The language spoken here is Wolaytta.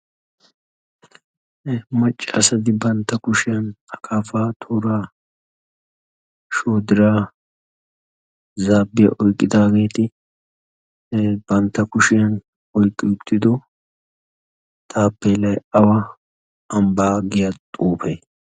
Maccasati bantta kushiyaan akapa, toora, zaabbiya oyqqi uttidaageeti bantta kushiyaan oyqqi uttido taappelay awa ambbaa giya xuufe?